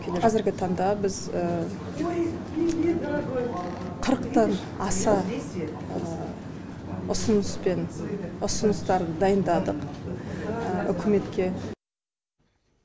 қазіргі таңда біз қырықтан аса ұсыныс пен ұсыныстарды дайындадық үкіметке